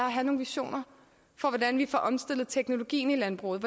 at have nogle visioner for hvordan vi får omstillet teknologien i landbruget